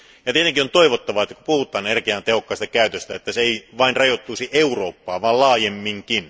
Tietenkin on toivottavaa, että kun puhutaan energian tehokkaasta käytöstä, että se ei vain rajoittuisi Eurooppaan vaan laajemminkin.